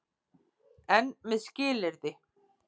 EN MEÐ SKILYRÐI.